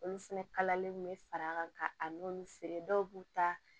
Olu fɛnɛ kalali kun bɛ fara kan ka a n'olu feere dɔw b'u ta